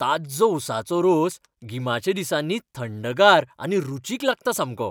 ताज्जो ऊसाचो रोस गिमाच्या दिसांनी थंडगार आनी रुचीक लागता सामको.